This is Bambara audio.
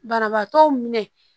Banabaatɔ minɛ